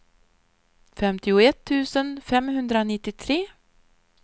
femtioett tusen femhundranittiotre